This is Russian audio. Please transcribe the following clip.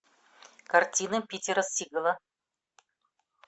картины питера сигала